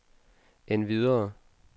endvidere